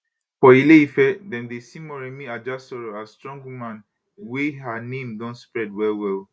for ile ife dem dey see moremi ajasoro as strong woman wey her name don spread well well